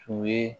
Tun ye